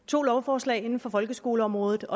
to lovforslag inden for folkeskoleområdet